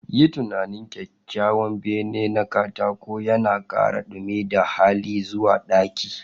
Yi tunanin kyawawan bene na katako yana ƙara dumi da hali zuwa ɗaki